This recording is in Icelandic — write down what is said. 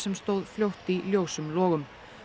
stóð fljótt í ljósum logum